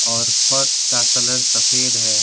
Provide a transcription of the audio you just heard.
और फर्श का कलर सफेद है।